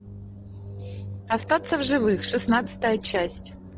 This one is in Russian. остаться в живых шестнадцатая часть